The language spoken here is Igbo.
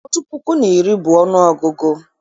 Otu puku na iri bụ ọnụọgụgụ